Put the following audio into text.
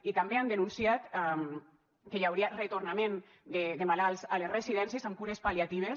i també han denunciat que hi hauria retornament de malalts a les residències amb cures pal·liatives